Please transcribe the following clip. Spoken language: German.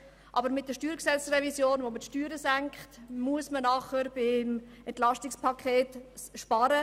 Aber, um es vereinfacht auszudrücken, man muss wegen der StG-Revision, mit der man Steuern senken will, dann im EP entsprechend sparen.